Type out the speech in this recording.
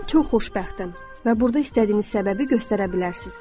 Mən çox xoşbəxtəm və burda istədiyiniz səbəbi göstərə bilərsiniz.